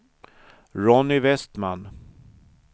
Ronny Vestman